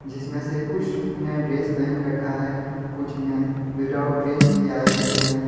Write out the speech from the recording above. जिसमें से कुछ ने ड्रेस पहन रखा है कुछ ने विदआउट ड्रेस भी आए हुए हैं।